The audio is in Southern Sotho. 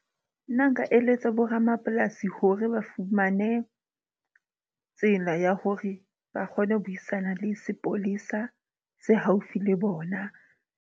Nna nka eletsa bo ramapolasi hore ba fumane tsela ya hore ba kgone ho buisana le sepolesa se haufi le bona.